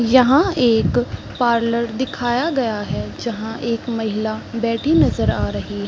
यहाँ एक पार्लर दिखाया गया है जहां महिला बैठी नज़र आ रही--